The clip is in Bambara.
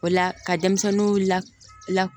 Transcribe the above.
O la ka denmisɛnninw la